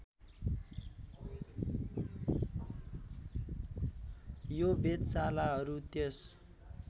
यो वेधशालाहरू त्यस